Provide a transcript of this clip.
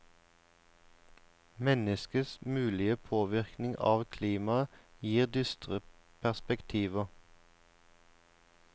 Menneskets mulige påvirkning av klimaet gir dystre perspektiver.